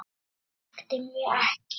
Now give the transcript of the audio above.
Hún þekkti mig ekki.